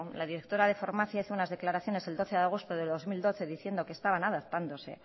la directora de farmacia hizo unas declaraciones el doce de agosto de dos mil doce diciendo que estaban adaptándose